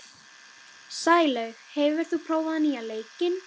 Sælaug, hefur þú prófað nýja leikinn?